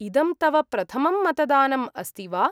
इदं तव प्रथमं मतदानम् अस्ति वा?